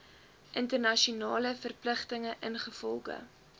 internasionale verpligtinge ingevolge